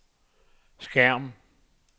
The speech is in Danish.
skærm